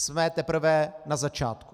Jsme teprve na začátku.